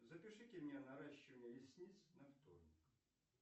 запишите меня на наращивание ресниц на вторник